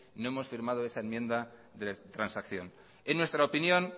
no hemos firmado esa enmienda de transacción en nuestra opinión